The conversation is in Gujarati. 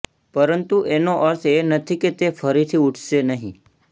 પરંતુ એનો અર્થ એ નથી કે તે ફરીથી ઉડશે નહીં